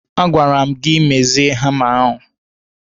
A gwara m gị mezie hama ahụ!